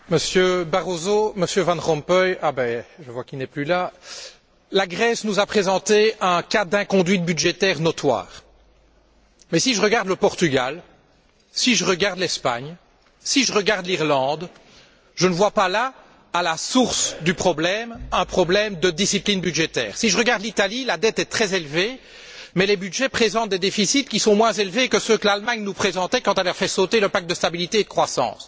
Monsieur le Président, Monsieur Barroso, Monsieur Van Rompuy je vois qu'il n'est plus là la Grèce nous a présenté un cas d'inconduite budgétaire notoire. Mais si je regarde le Portugal, l'Espagne ou l'Irlande, je ne vois pas là, à la source du problème, un problème de discipline budgétaire. Si je regarde l'Italie, la dette est très élevée, mais les budgets présentent des déficits qui sont moins élevés que ceux que l'Allemagne nous présentait quand elle a fait sauter le pacte de stabilité et de croissance.